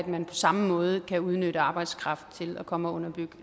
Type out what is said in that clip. man på samme måde kan udnytte arbejdskraft til at komme og underbyde